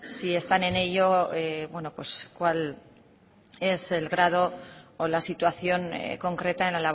si están en ello bueno pues cuál es el grado o la situación concreta en